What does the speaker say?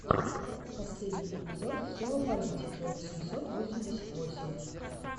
последний эпизод все о политике восемьсот восемьдесят восемь